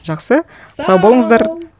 жақсы сау болыңыздар